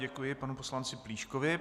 Děkuji panu poslanci Plíškovi.